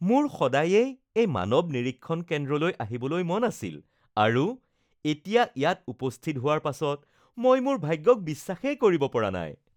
মোৰ সদায়েই এই মানৱ নিৰীক্ষণ কেন্দ্ৰলৈ আহিবলৈ মন আছিল আৰু এতিয়া ইয়াত উপস্থিত হোৱাৰ পাছত মই মোৰ ভাগ্যক বিশ্বাসেই কৰিব পৰা নাই